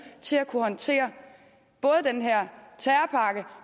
til at kunne håndtere både den her terrorpakke